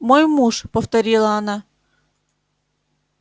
мой муж повторила она